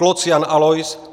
Kloc Jan Alois